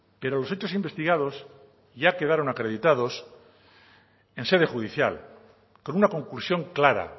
pero los hechos investigados ya quedaron acreditados en sede judicial con una conclusión clara